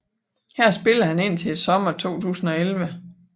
Her spillede han indtil sommeren 2011